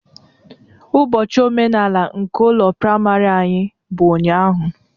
Ubochi omenala nke ụlọ praịmarị anyị bụ ụnyaahụ